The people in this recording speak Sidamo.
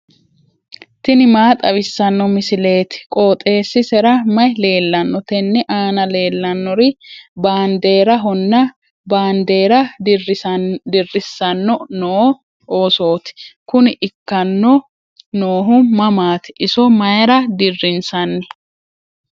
tini maa xawissanno misileeti? qooxeessisera may leellanno? tenne aana leellannori baandeerahonna baandeera dirrissanno noo oosooti. kuni ikkanno noohu mamaati? iso mayra dirrinsanni?